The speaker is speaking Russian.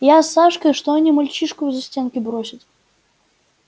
я с сашкой что они мальчишку в застенки бросят